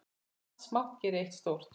Margt smátt gerir eitt stórt!